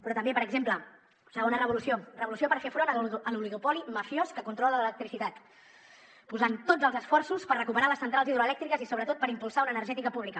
però també per exemple segona revolució revolució per fer front a l’oligopoli mafiós que controla l’electricitat posant tots els esforços per recuperar les centrals hidroelèctriques i sobretot per impulsar una energètica pública